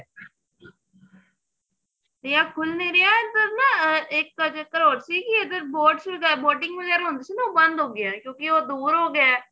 ਨਿਆ ਖੁਲ ਨੀਂ ਰਿਹਾ ਇੱਧਰ ਨਾ ਇੱਕ ਚਕਰ ਹੋਰ ਸੀ ਕਿ ਇੱਧਰ boat boating ਵਗੈਰਾ ਹੁੰਦੀ ਸੀ ਨਾ ਉਹ ਬੰਦ ਹੋ ਗਈ ਏ ਕਿਉਂਕਿ ਉਹ ਦੂਰ ਹੋ ਗਿਆ